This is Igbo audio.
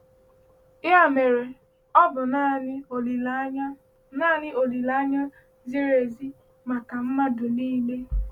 Ya mere, ọ bụ naanị olileanya naanị olileanya ziri ezi maka mmadụ niile.